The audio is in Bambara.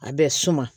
A bɛ suma